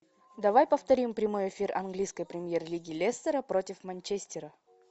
давай повторим прямой эфир английской премьер лиги лестера против манчестера